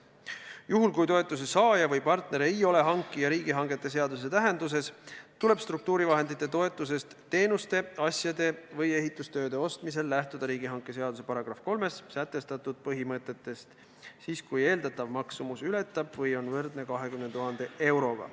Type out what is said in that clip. Juhul, kui toetuse saaja või partner ei ole hankija riigihangete seaduse tähenduses, tuleb struktuuritoetuse eest teenuste, asjade või ehitustööde ostmisel lähtuda riigihangete seaduse § 3 sätestatud põhimõtetest siis, kui eeldatav maksumus ületab 20 000 eurot või on sellega võrdne.